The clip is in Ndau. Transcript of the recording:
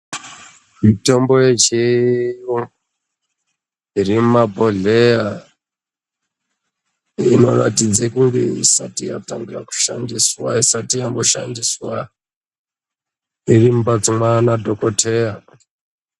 Mitombo ye chiyungu iri muma bhodhleya ino ratidza kunge isati yatanga ku shandiswa isati yambo shandiswa iri mu mbatso yana dhokoteya.